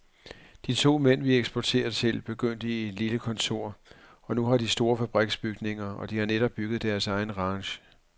De to mænd, vi eksporterer til, begyndte i et lille kontor, og nu har de store fabriksbygninger, og de har netop bygget deres egen ranch.